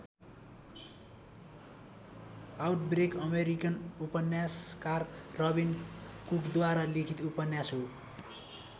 Outbreak American उपन्यासकार Robin कुकद्वारा लिखित उपन्यास हो।